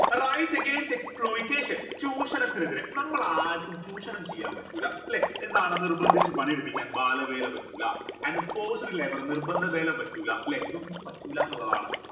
right against exploitation ചൂഷണത്തിനെതിരെ നമ്മൾ ആർക്കും ചൂഷണം ചെയ്യാൻ പറ്റൂല ല്ലെ എന്താണ്ട നിർബന്ധിച്ച് പണിയെടിപ്പിക്കാൻ ബാല വേല പറ്റൂല and forced labour നിർബന്ധ വേല പറ്റൂല ല്ലേ ഇതൊന്നും പറ്റൂലാന്നിള്ളതാണ്